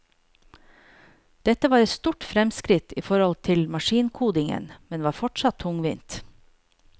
Dette var et stort fremskritt i forhold til maskinkodingen, men var fortsatt tungvint.